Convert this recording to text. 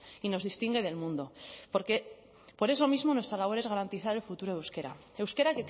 y nos distingue del mundo porque por eso mismo nuestra labor es garantizar el futuro del euskera euskera